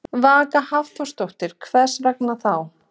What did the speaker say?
Vaka Hafþórsdóttir: Hvers vegna þá?